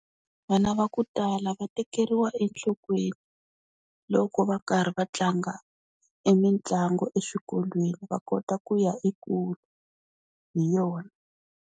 Vana va ku tala va tekeriwa enhlokweni loko va karhi va tlanga e mitlangu eswikolweni va kota ku ya ekule hi yona.